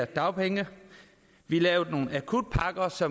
dagpengene vi lavede nogle akutpakker så